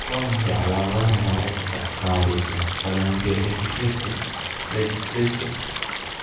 Waa maxay calaamadaha iyo calaamadaha malaa'igta qaabaysan phalangoepiphyseal dysplasia?